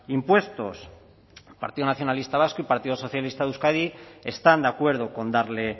impuestos el partido nacionalista vasco y el partido socialista de euskadi están de acuerdo con darle